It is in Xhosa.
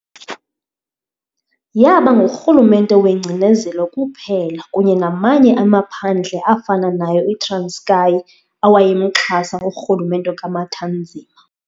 Yaba ngurhulumente wengcinezelo kuphela kunye namanye amaphandle afana nayo iTranskei awayemxhasa urhulumente kaMathanzima.